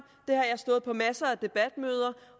det har jeg stået på masser af debatmøder